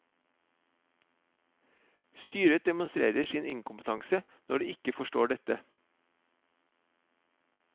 Styret demonstrerer sin inkompetanse når de ikke forstår dette.